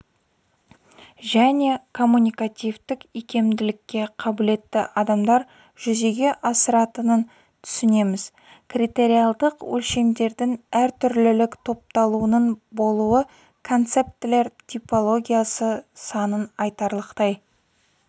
және коммуникативтік икемділікке қабілетті адамдар жүзеге асыратынын түсінеміз критериалдық өлшемдердің әртүрлілік топталуының болуы концептілер типологиясы санын айтарлықтай